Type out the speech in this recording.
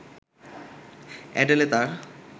Adele তার